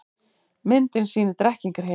Myndin sýnir Drekkingarhyl.